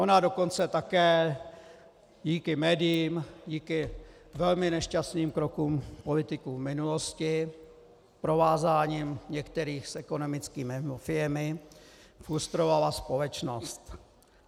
Ona dokonce také díky médiím, díky velmi nešťastným krokům politiků v minulosti, provázáním některých s ekonomickými mafiemi lustrovala společnost.